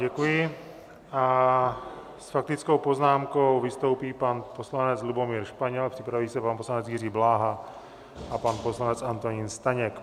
Děkuji a s faktickou poznámkou vystoupí pan poslanec Lubomír Španěl, připraví se pan poslanec Jiří Bláha a pan poslanec Antonín Staněk.